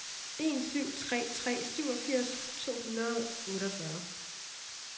en syv tre tre syvogfirs to hundrede og otteogfyrre